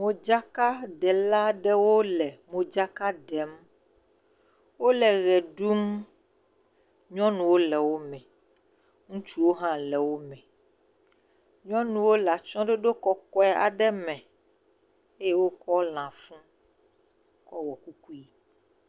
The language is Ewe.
Modzakaɖela aɖewo le modzaka ɖem, wole ʋe ɖum, nyɔnuwo le wo me, ŋutsuwo hã le atsyɔɖoɖo kɔkɔe aɖe me eye wokɔ lã fu kɔwɔ kukui.